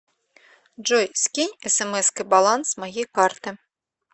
джой скинь смской баланс моей карты